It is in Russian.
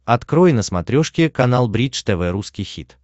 открой на смотрешке канал бридж тв русский хит